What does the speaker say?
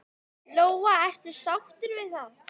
Lóa: Ertu sáttur við það?